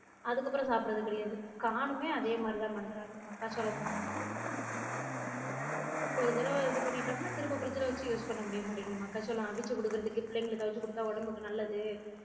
அதுக்கு அப்ரோ சாப்பிடுரது கிடையாது corn னுமே அதே மாதிரிதான் பண்றாங்க மக்காச்சோழமும் ஒரு தடவ இது பண்ணிட்டோம்னா திரும்ப fridge ல வச்ச use பண்ண முடிய மாட்டிக்குது மக்காச்சோழம் அவிச்சு குடுக்குறதுக்கு பிள்ளைங்களுக்கு அவிச்சு குடுத்தா உடம்புக்கு நல்லது